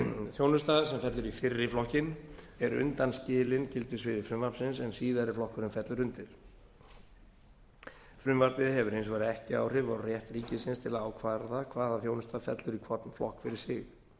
þjónusta sem fellur í fyrri flokkinn er undanskilin gildissviði frumvarpsins en síðari flokkurinn fellur undir frumvarpið hefur hins vegar ekki áhrif á rétt ríkisins til að ákvarða hvaða þjónusta fellur í hvorn flokk fyrir sig